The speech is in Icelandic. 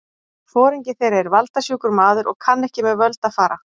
Foringi þeirra er valda- sjúkur maður og kann ekki með völd að fara.